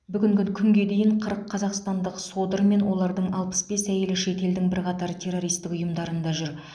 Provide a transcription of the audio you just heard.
бүгінгі күнге дейін қырық қазақстандық содыр мен олардың алпыс бес әйелі шет елдің бірқатар террористік ұйымдарында жүр